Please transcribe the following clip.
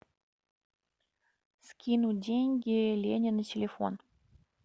скинуть деньги лене на телефон